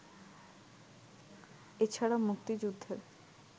এছাড়া মুক্তিযুদ্ধের